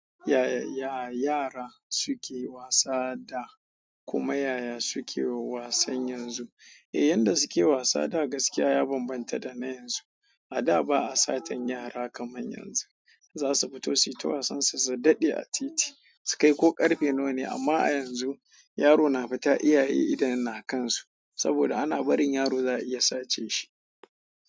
Ya ya yara suke wasa da kuma yaya suke wasan yanzu? Eh, yanda suke wasa da gaskiya ya bambanta da na yanzu. A da ba a satan yara kaman yanzu. Zasu fito suyi ta wasan su, su daɗe a titi, su kai ko karfe nawa. Amma a yanzu yaro na fita iyaye idon na kansu saboda ana barin yaro za a iya sace shi.